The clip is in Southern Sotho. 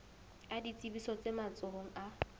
a ditsebiso tse matsohong a